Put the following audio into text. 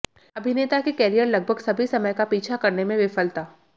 अभिनेता के कैरियर लगभग सभी समय का पीछा करने में विफलता